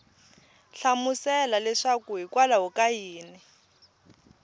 hlamusela leswaku hikwalaho ka yini